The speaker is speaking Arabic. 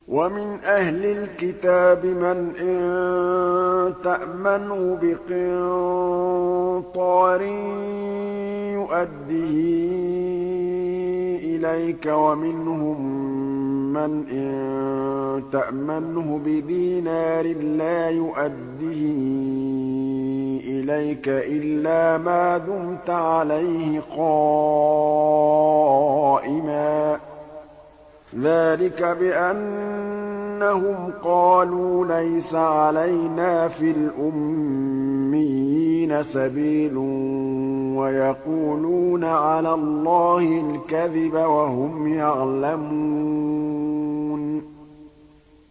۞ وَمِنْ أَهْلِ الْكِتَابِ مَنْ إِن تَأْمَنْهُ بِقِنطَارٍ يُؤَدِّهِ إِلَيْكَ وَمِنْهُم مَّنْ إِن تَأْمَنْهُ بِدِينَارٍ لَّا يُؤَدِّهِ إِلَيْكَ إِلَّا مَا دُمْتَ عَلَيْهِ قَائِمًا ۗ ذَٰلِكَ بِأَنَّهُمْ قَالُوا لَيْسَ عَلَيْنَا فِي الْأُمِّيِّينَ سَبِيلٌ وَيَقُولُونَ عَلَى اللَّهِ الْكَذِبَ وَهُمْ يَعْلَمُونَ